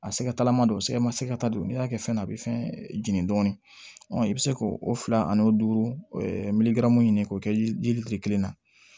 A sɛgɛtalama do sɛgɛ ma se ka ta don n'i y'a kɛ fɛn na a be fɛn jeni dɔɔni i bi se k'o o fila ani o duuru ɲini k'o kɛ yiri feere kelen na